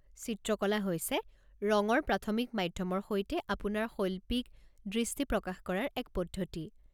চিত্ৰকলা হৈছে ৰঙৰ প্ৰাথমিক মাধ্যমৰ সৈতে আপোনাৰ শৈল্পিক দৃষ্টি প্ৰকাশ কৰাৰ এক পদ্ধতি।